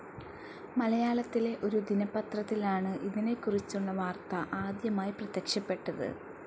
മലയാളത്തിലെ ഒരു ദിനപത്രത്തിലാണ് ഇതിനെക്കുറിച്ചുള്ള വാർത്ത ആദ്യമായി പ്രത്യക്ഷപ്പെട്ടത്.